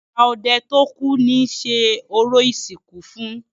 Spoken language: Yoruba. Àgbà ọdẹ tó kú ni ṣe orò ìsìnkú fún.